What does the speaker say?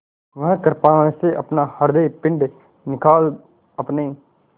वह कृपाण से अपना हृदयपिंड निकाल अपने